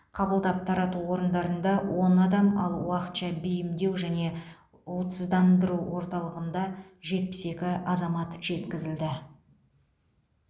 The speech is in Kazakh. қабылдап тарату орындарында он адам ал уақытша бейімдеу және уытсыздандыру орталығында жетпіс екі азамат жеткізілді